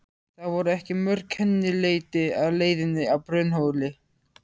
Það voru ekki mörg kennileiti á leiðinni að Brunnhóli.